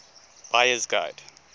buyer s guide